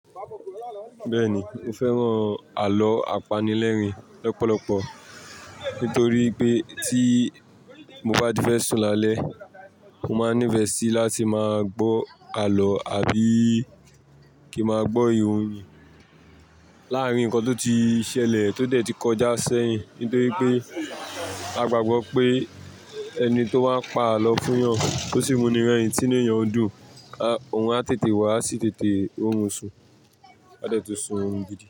Bẹ́ẹ̀ni, mo fẹ́ràn àlọ́ àpanilẹ́rìn lọ́pọ̀lọpọ̀ nítorí pé tí mo bá ti fẹ́ sùn lálẹ́, mo máa nífẹ̀ẹ́ sí láti máa gbọ́ àlọ́ àbí kí máa gbọ́ ìròyìn láàárín nǹkan tó ti ṣẹlẹ̀ tó dẹ̀ ti kọjá sẹ́yìn. Nítorí pé a gbàgbọ́ pé ẹni tó bá pa àlọ́ fún èèyàn tó sì muniran ìdí tí èèyàn ń dùn, òun á tètè wá, á sì tètè ó ń sun, a dẹ̀ tun surun gidi.